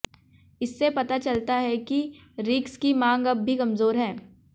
इससे पता चलता है कि रिग्स की मांग अब भी कमजोर है